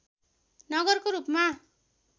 नगरको रूपमा